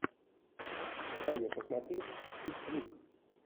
дай мне посмотреть чик флик